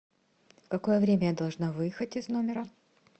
в какое время я должна выехать из номера